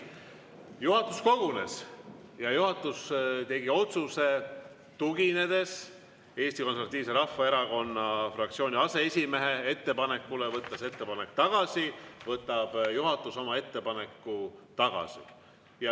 Juhatus kogunes ja juhatus tegi otsuse: tuginedes Eesti Konservatiivse Rahvaerakonna fraktsiooni aseesimehe ettepanekule võtta see ettepanek tagasi, võtab juhatus ettepaneku tagasi.